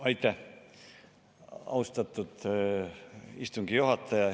Aitäh, austatud istungi juhataja!